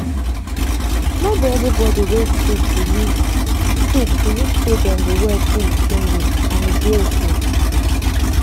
no be every body wey sick believe sick believe say dem go well through di same way and e dey okay.